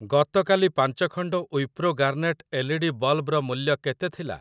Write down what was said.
ଗତକାଲି ପାଞ୍ଚ ଖଣ୍ଡ Wipro garnet L E D ବଲ୍‌ବର ମୂଲ୍ୟ କେତେ ଥିଲା?